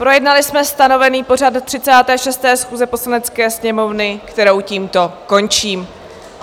Projednali jsme stanovený pořad 36. schůze Poslanecké sněmovny, kterou tímto končím.